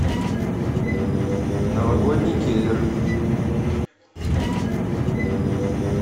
новогодний киллер